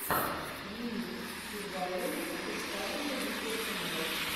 ремикс сурвариум официальный видеоканал